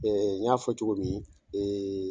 n y'a fɔ cogo min